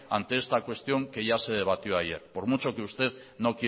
ante esta cuestión que ya se debatió ayer por mucho que usted